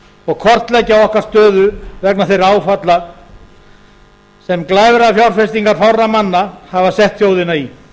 og kortleggja okkar stöðu vegna þeirra áfalla sem glæfrafjárfestingar fárra manna hafa sett þjóðina í